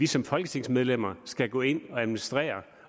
som folketingsmedlemmer skal gå ind og administrere